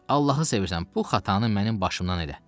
Allahı sevirsən, bu xatanı mənim başımdan elə.